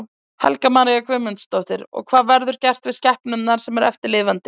Helga María Guðmundsdóttir: Og hvað verður gert við skepnurnar sem eru eftir lifandi?